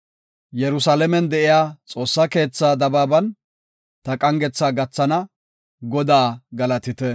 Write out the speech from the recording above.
Yerusalaamen de7iya Xoossa keethaa dabaaban, ta qangetha gathana. Godaa galatite.